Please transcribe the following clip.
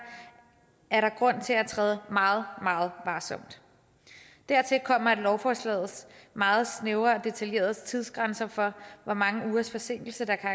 er der grund til at træde meget meget varsomt dertil kommer at lovforslagets meget snævre og detaljerede tidsgrænser for hvor mange ugers forsinkelse der kan